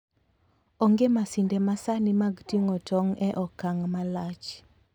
Onge masinde masani mag ting'o tong' e okang' malach.